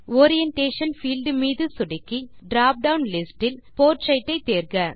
orientation field மீது சொடுக்கி drop down list இல் போர்ட்ரெய்ட் ஐ தேர்க